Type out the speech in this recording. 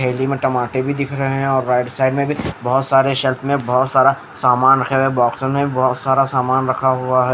थैली में टमाटे भी दिख रहे हैं और राइट साइड में भी बहोत सारे शेल्फ में बहोत सारा सामान रखा हुआ है बॉक्सेस में बहोत सारा सामान रखा हुआ है।